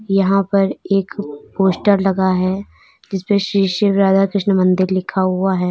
यहां पर एक पोस्टर लगा है जिसपे श्री शिव राधा कृष्ण मंदिर लिखा हुआ है।